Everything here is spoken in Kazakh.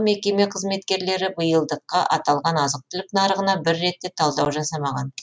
мекеме қызметкерлері биылдыққа аталған азық түлік нарығына бір рет те талдау жасамаған